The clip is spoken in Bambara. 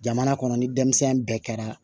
Jamana kɔnɔ ni denmisɛn bɛɛ kɛra